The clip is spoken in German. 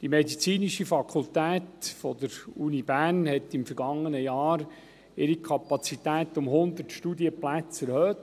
Die medizinische Fakultät der Uni Bern hat im vergangenen Jahr ihre Kapazität um 100 Studienplätze erhöht.